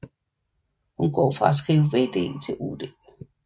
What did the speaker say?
Hun går fra at skrive vd til ud